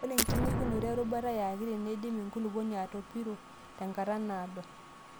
Ore eng'uikinoto erutuba yaakiti neidim enkulupuoni atopiro tenkata naado.